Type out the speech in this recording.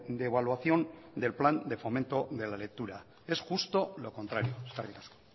de evaluación del plan de fomento de la lectura es justo lo contrario eskerrik asko